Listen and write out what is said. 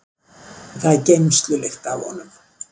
Það er geymslulykt af honum.